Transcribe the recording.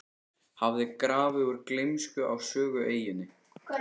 hafði grafið úr gleymsku á Sögueyjunni.